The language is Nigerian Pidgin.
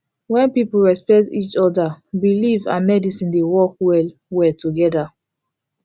when people respect each other believe and medicine dey work well well together